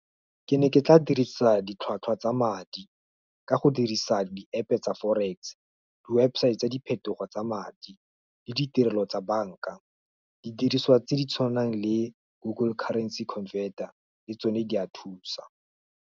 Ke ne ke tla dirisa ditlhwatlhwa tsa madi, ka go dirisa di App tsa forex-e, di website tsa diphetogo tsa madi, le ditirelo tsa banka, didiriswa tse di tshwanang le google currency converter, le tsone di a thusa.